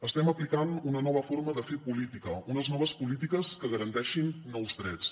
estem aplicant una nova forma de fer política unes noves polítiques que garanteixin nous drets